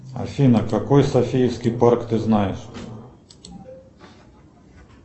афина какой софийский парк ты знаешь